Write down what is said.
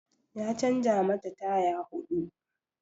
Ya canza mata taya huɗu